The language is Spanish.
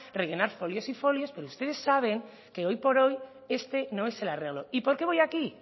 rellenar folios y folios pero ustedes saben que hoy por este no es el arreglo y por qué voy aquí